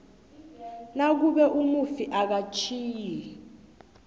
nakube umufi akatjhiyi